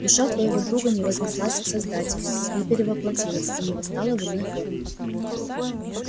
душа твоего друга не вознеслась к создателю не перевоплотилась и не восстала в иной форме